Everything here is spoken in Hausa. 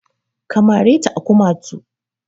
Ka mare ta a kumatu!